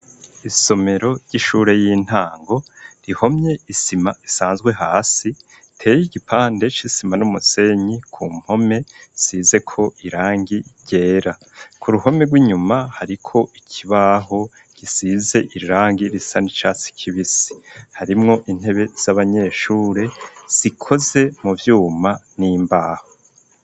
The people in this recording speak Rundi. Isomero ry'ishure y'intango rihomye isima isanzwe hasi iteye igipande c'isima n'umusenyi ku mpome isize ko irangi gera ku ruhome rw'inyuma hariko ikibaho gisize irangi risa n'icatsi kibisi harimwo intebe z'abanyeshure zikoze mu vyuma n'imbaho.